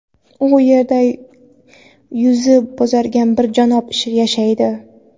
u yerda yuzi bo‘zargan bir janob yashaydi.